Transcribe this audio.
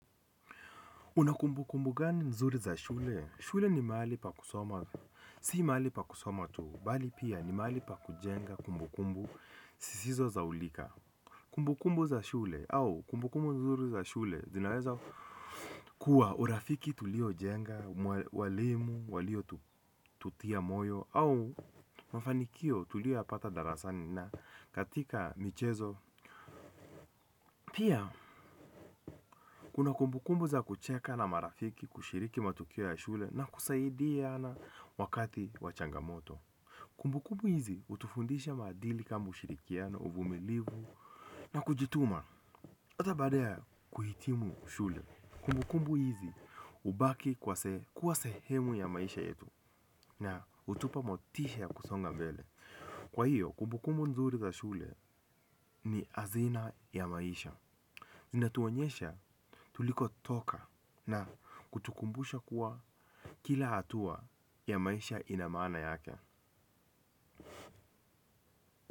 Unakumbu kumbu gani nzuri za shule? Shule ni mali pa kusoma. Si mali pa kusoma tu. Bali pia ni mali pa kujenga kumbukumbu zisizosaulika. Kumbukumbu za shule au kumbukumbu nzuri za shule zinaweza kuwa urafiki tulio jenga, walimu, walio tutia moyo au mafanikio tulio yapata darasani na katika michezo. Pia, kuna kumbukumbu za kucheka na marafiki kushiriki matukio ya shule na kusaidia na wakati wa changamoto. Kumbukumbu hizi hutufundisha madili kambu shirikia na uvumilivu na kujituma. Hata baada ya kuhitimu shule kumbukumbu hizi hubaki kuwa sehemu ya maisha yetu na hutupa motisha kusonga mbele. Kwa hiyo, kumbukumbu nzuri za shule ni hazina ya maisha. Zina tuonyesha tuliko toka na kutukumbusha kuwa kila hatua ya maisha inamaana yake.